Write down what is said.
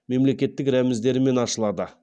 мемлекеттік рәміздерімен ашылады